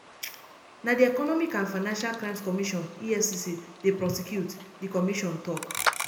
na di economic and financial crimes commission efcc dey prosecute di commission tok.